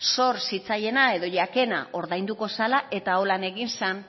zor zitzaiena edo jakena ordainduko zala eta honela egin zen